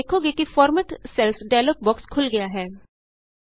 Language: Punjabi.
ਤੁਸੀਂ ਵੇਖੋਗੇ ਕਿ ਫਾਰਮੈਟ ਸੈਲਜ਼ ਡਾਇਲੋਗ ਬੋਕਸ ਖੁੱਲ੍ ਗਿਆ ਹੈ